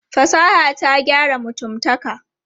Fasaha ta gyara mutumtaka.